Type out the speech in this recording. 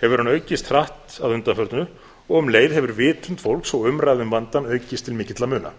hefur hann aukist hratt að undanförnu og um leið hefur vitund fólks og umræða um vandann aukist til mikilla muna